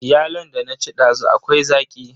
Yalon da na ci dazu akwai zaƙi.